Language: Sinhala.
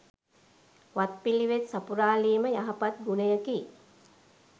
වත් පිළිවෙත් සපුරාලීම යහපත් ගුණයකි.